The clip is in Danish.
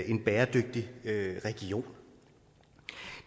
en bæredygtig region